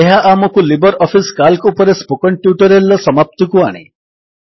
ଏହା ଆମକୁ LibreOffice C A L C ଉପରେ ସ୍ପୋକନ୍ ଟ୍ୟୁଟୋରିଆଲ୍ ର ସମାପ୍ତିକୁ ଆଣେ